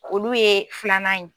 Olu ye filanan ye.